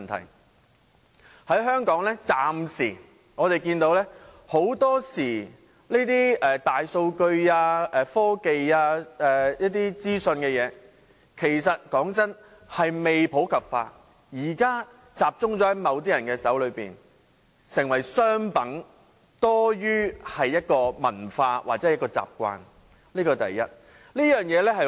坦白說，我們暫時看見在香港很多時候大數據、科技或資訊等事情仍未普及，現時仍然只是集中在某些人手上，成為商品多於一種文化或習慣，這是第一點。